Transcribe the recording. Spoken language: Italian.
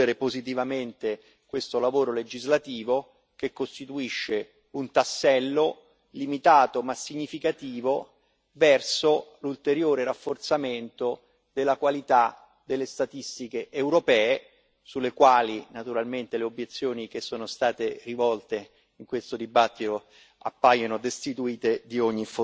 a concludere positivamente questo lavoro legislativo, che costituisce un tassello limitato ma significativo verso l'ulteriore rafforzamento della qualità delle statistiche europee, sulle quali naturalmente le obiezioni che sono state rivolte in questo dibattito